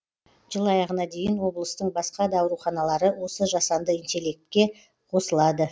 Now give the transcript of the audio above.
жыл аяғына дейін облыстың басқа да ауруханалары осы жасанды интеллектке қосылады